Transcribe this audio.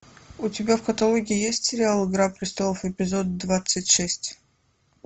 у тебя в каталоге есть сериал игра престолов эпизод двадцать шесть